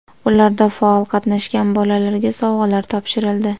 Ularda faol qatnashgan bolalarga sovg‘alar topshirildi.